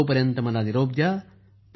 तोपर्यंत निरोप द्या